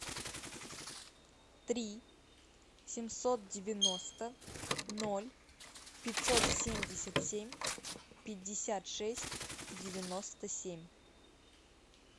три семьсот девяносто ноль пятьсот семьдесят семь пятьдесят шесть девяносто семь